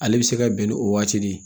Ale bɛ se ka bɛn ni o waati de ye